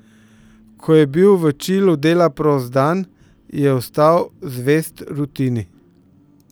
Ko je bil v Čilu dela prost dan, je ostal zvest rutini.